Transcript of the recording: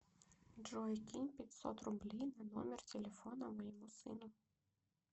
джой кинь пятьсот рублей на номер телефона моему сыну